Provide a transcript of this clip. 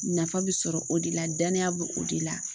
Nafa bɛ sɔrɔ o de la danaya be o de la.